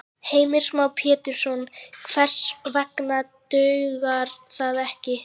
Heimir Már Pétursson: Hvers vegna dugar það ekki?